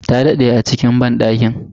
Ta daɗe a cikin banɗakin.